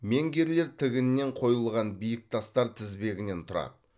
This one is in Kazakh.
менгирлер тігінен қойылған биік тастар тізбегінен тұрады